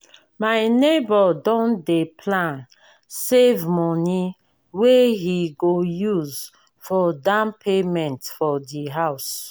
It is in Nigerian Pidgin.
my nebor don dey plan save money wey he go use for down payment for di house